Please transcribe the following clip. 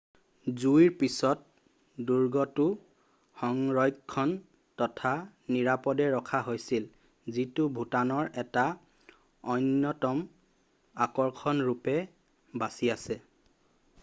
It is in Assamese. জুইৰ পিছত দুৰ্গটো সংৰক্ষণ তথা নিৰাপদে ৰাখা হৈছিল যিটো ভুটানৰ এটা অন্যতম আকৰ্ষণ ৰূপে বাছি আছে